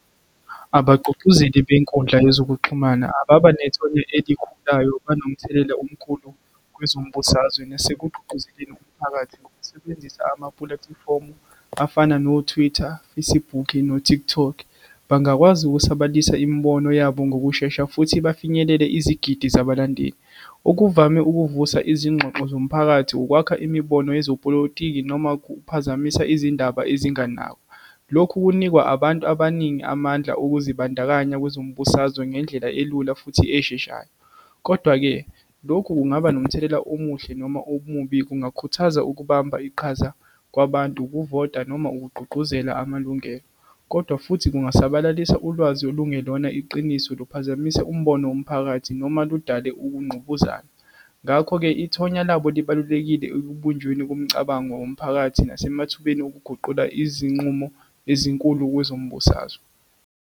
Abagqugquzeli benkundla yezokuxhumana ababa nethonya elikhulayo banomthelela omkhulu kwezombusazwe, nasekugqugquzeleni umphakathi ngokusebenzisa amapulatifomu afana no-Twitter, no-TikTok. Bangakwazi ukusabalalisa imibono yabo ngokushesha, futhi bafinyelele izigidi zabalandeli. Okuvame ukuvusa izingxoxo zomphakathi, ukwakha imibono yezopolitiki, noma ukuphazamisa izindaba ezinganakwa. Lokhu kunikwa abantu abaningi amandla okuzibandakanya kwezombusazwe ngendlela elula, futhi esheshayo. Kodwa-ke, lokhu kungaba nomthelela omuhle noma omubi, kungakhuthaza ukubamba iqhaza kwabantu, ukuvota, noma ukugqugquzela amalungelo, kodwa futhi kungasabalalisa ulwazi olungelona iqiniso, luphazamise umbono womphakathi, noma ludale ukungqubuzana. Ngakho-ke, ithonya labo libalulekile ekubunjweni komcabango womphakathi, nasemathubeni okuguqula izinqumo ezinkulu kwezombusazwe.